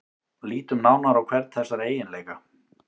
Lítum nánar á hvern þessara eiginleika.